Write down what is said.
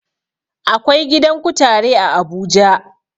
Akwai gidan kutare a abuja